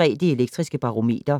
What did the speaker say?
22:03: Det Elektriske Barometer